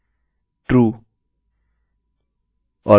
true